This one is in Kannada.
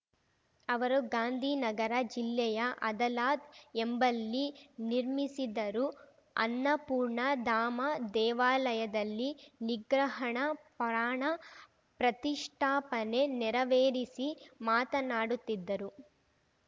ಅವರು ಗಾಂಧಿ ನಗರ ಜಿಲ್ಲೆಯ ಅದಲಾಜ್ ಎಂಬಲ್ಲಿ ನಿರ್ಮಿಸಿದರು ಅನ್ನಪೂರ್ಣ ಧಾಮ ದೇವಾಲಯದಲ್ಲಿ ವಿಗ್ರಹಣ ಪ್ರಾಣ ಪ್ರತಿಷ್ಠಾಪನೆ ನೆರವೇರಿಸಿ ಮಾತನಾಡುತ್ತಿದ್ದರು